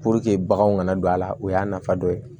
baganw kana don a la o y'a nafa dɔ ye